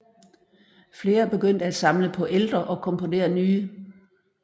Flere begyndte at samle på ældre og komponere nye